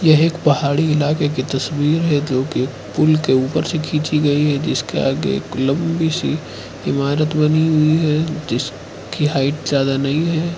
यह एक पहाड़ी इलाके की तस्वीर है जो कि एक पूल के ऊपर से खींची गई है जिसके आगे एक लंबी सी इमारत बनी हुई है जिस की हाइट ज्यादा नहीं है।